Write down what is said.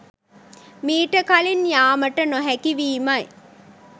මීට කලින් යාමට නොහැකිවීමයි.